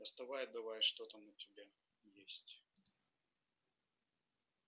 доставай давай что там у тебя есть